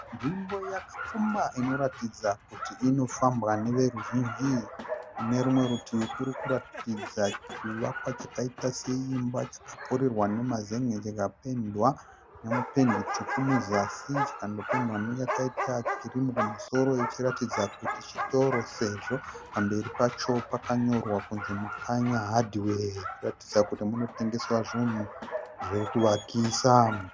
Nzvimbo yakapfumba inoratidza kuti unofambwa neveruzhinji. Munerumwe rutivi kurikuratidza chivakwa chakaita seimba chakapfurirwa nemazen'e chakapendwa nependi tsvuku muzasi chikandopendwa neyakaita kirimu kumusoro ichiratidza kuti chitoro sezvo pamberi pacho pakanyorwa kuti Mukanya hadhiwe kuratidza kuti munotengeswa zvunhu zvekuvakisa.